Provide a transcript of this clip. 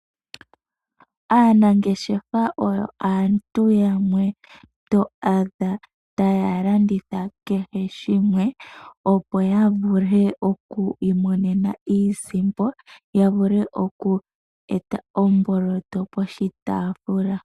Aanangeshefa oyo aantu yamwe to adha taya landitha kehe shimwe, opo ya vule okwiimonena iisimpo ya vule okweeta omboloto poshitaafula.